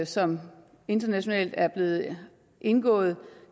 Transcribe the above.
som internationalt er blevet indgået